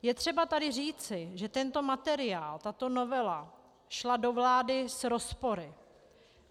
Je třeba tady říci, že tento materiál, tato novela šla do vlády s rozpory.